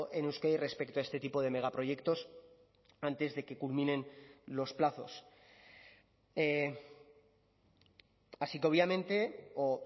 en euskadi respecto a este tipo de megaproyectos antes de que culminen los plazos así que obviamente o